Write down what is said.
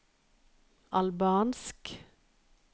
albansk